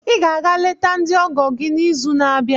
Ị ga-aga leta ndị ọgọ gị n'izu na-abịa.